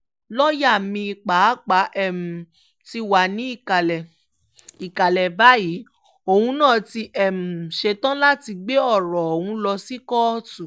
lọ́ọ̀yà mi pàápàá um ti wá ní ìkàlẹ̀ ìkàlẹ̀ báyìí òun náà ti um ṣetán láti gbé ọ̀rọ̀ ọ̀hún lọ sí kóòtù